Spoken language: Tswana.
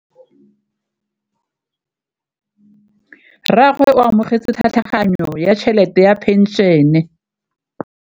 Rragwe o amogetse tlhatlhaganyô ya tšhelête ya phenšene.